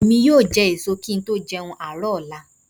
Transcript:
Èmi yóò jẹ ẹ̀so kí n tó jẹun àárọ̀ lọ́la